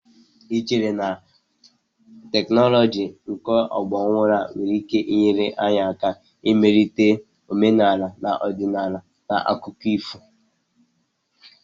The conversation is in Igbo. Do you think modern technologies can help to improve our culture through folk and fairy tales.?